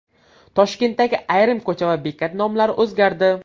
Toshkentdagi ayrim ko‘cha va bekat nomlari o‘zgardi.